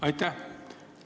Aitäh!